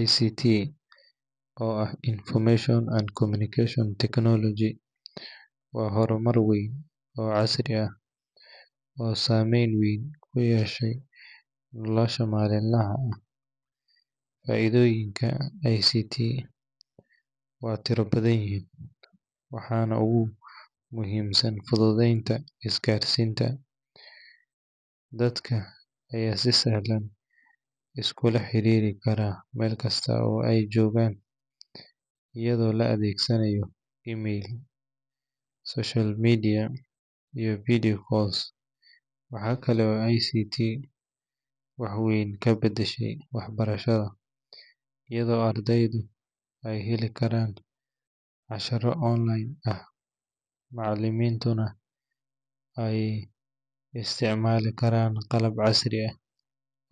ICT, oo ah Information and Communication Technology, waa horumar weyn oo casri ah oo saameyn weyn ku yeeshay nolosha maalinlaha ah. Faa’iidooyinka ICT waa tiro badan, waxaana ugu muhiimsan fududeynta isgaarsiinta. Dadka ayaa si sahlan iskula xiriiri kara meel kasta oo ay joogaan, iyadoo la adeegsanayo email, social media, iyo video calls. Waxa kale oo ICT wax weyn ka beddeshay waxbarashada, iyadoo ardaydu ay heli karaan casharro online ah, macallimiintuna ay isticmaali karaan qalab casri ah